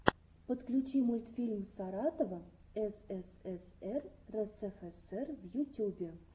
подключи мультфильм саратова ссср рсфср в ютюбе